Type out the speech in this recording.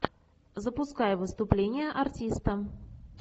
запускай выступление артиста